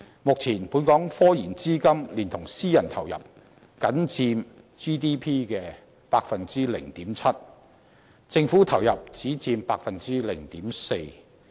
目前，本港科研資金連同私人投入，僅佔 GDP 的 0.7%， 政府投入只佔 0.4%。